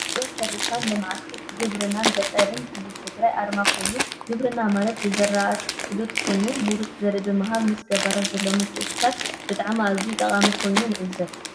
ቢሮ ሕርሻን ልምዓት ግብርናና ገጠርን ክልል ትግራይ ኣርማ ኮይኑ ግብርና ማለት ብዝርኣት ፍሉጥ ኮይኑ ሙሩፅ ዘርኢ ብምሃብ ምስ ገባርት ዘለዎ ምትእስሳር ብጣዓሚ ኣዝዩ ጠቃሚ ምከኑ ንዕዘብ።